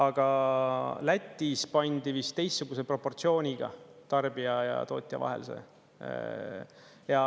Aga Lätis pandi vist teistsuguse proportsiooniga tarbija ja tootja vahel see.